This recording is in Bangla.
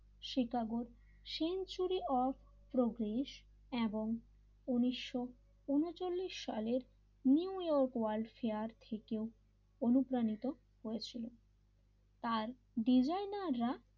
শিকাগোর সেঞ্চুরি অফ প্রোগ্রেস এবং উনিশও উনিছলিস সালের নিউ ইয়র্ক ওয়ার্ল্ড ফেয়ার থেকেও অনুপ্রাণিত হয়েছিল তার ডিজাইনাররা,